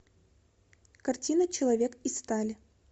картина человек из стали